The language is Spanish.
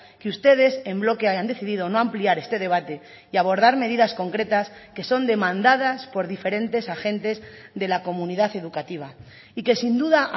que ustedes en bloque hayan decidido no ampliar este debate y abordar medidas concretas que son demandadas por diferentes agentes de la comunidad educativa y que sin duda